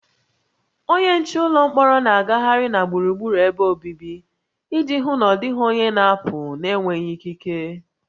Onye nche ụlọ mkpọrọ na-agagharị na gburugburu ebe obibi iji hụ na ọ dịghị onye na-apụ n'enweghị ikike